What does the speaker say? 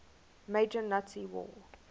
major nazi war